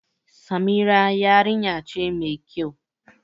Samira yarinya ce ma kyau